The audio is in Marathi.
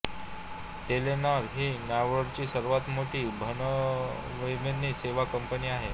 टेलेनॉर ही नॉर्वेची सर्वांत मोठी भ्रमणध्वनी सेवा कंपनी आहे